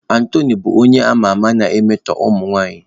Anthony bụ onye a ma ama na-emetọ ụmụ nwanyị